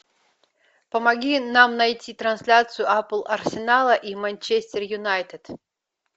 помоги нам найти трансляцию апл арсенала и манчестер юнайтед